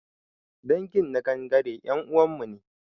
Dangin nagangare ƴan uwanmu ne